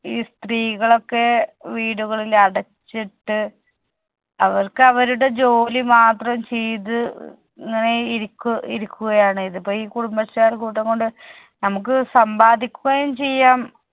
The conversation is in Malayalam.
ഈ സ്ത്രീകളൊക്കെ വീടുകളിൽ അടച്ചിട്ട് അവർക്ക് അവരുടെ ജോലി മാത്രം ചെയ്‌ത് ഇങ്ങനെ ഇരിക്ക് ഇരിക്കുകയാണ്. ഇതിപ്പോ ഈ കുടുംബശ്രീ അയൽക്കൂട്ടം കൊണ്ട് നമ്മുക്ക് സമ്പാദിക്കുകയും ചെയ്യാം